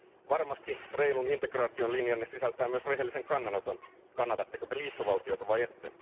Varmasti reilun integraation linjanne sisältää myös rehellisen kannanoton kannatatteko te liittovaltiota vai ette?